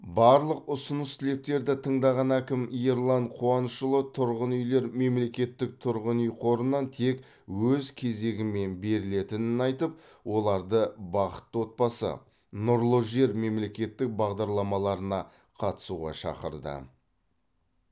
барлық ұсыныс тілектерді тыңдаған әкім ерлан қуанышұлы тұрғын үйлер мемлекеттік тұрғын үй қорынан тек өз кезегімен берілетінін айтып оларды бақытты отбасы нұрлы жер мемлекеттік бағдарламаларына қатысуға шақырды